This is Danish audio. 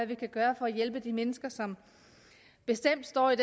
vi kan gøre for at hjælpe de mennesker som bestemt står i